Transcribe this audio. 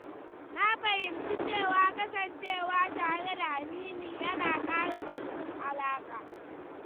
Na fahimci cewa kasancewa tare da amini yana ƙara ƙarfin alaƙa.